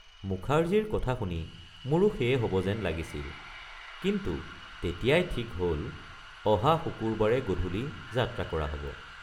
মুখাৰ্জীৰ কথা শুনি মোৰো সেয়ে হব যেন লাগিছিল কিন্তু তেতিয়াই ঠিক হল অহা শুকুৰবাৰে গধূলি যাত্ৰা কৰা হব।